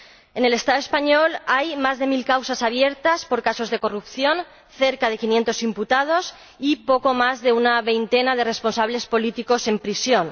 En el Estado español hay más de mil causas abiertas por casos de corrupción, cerca de 500 imputados y poco más de una veintena de responsables políticos en prisión.